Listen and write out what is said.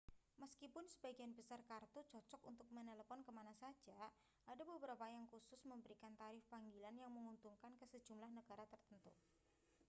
meskipun sebagian besar kartu cocok untuk menelepon ke mana saja ada beberapa yang khusus memberikan tarif panggilan yang menguntungkan ke sejumlah negara tertentu